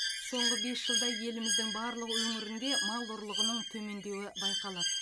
соңғы бес жылда еліміздің барлық өңірінде мал ұрлығының төмендеуі байқалады